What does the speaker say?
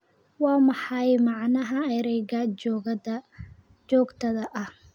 Waa maxay macnaha erayga joogtada ah?